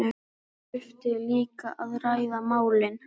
Það þyrfti líka að ræða málin